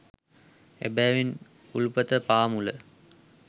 එබැවින් උල්පත පාමුල